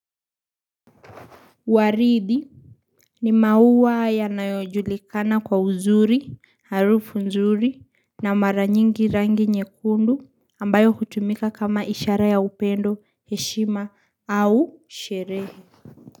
Waridi ni maua ya nayojulikana kwa uzuri, harufu nzuri na maranyingi rangi nyekundu ambayo hutumika kama ishara ya upendo, heshima au sherehe.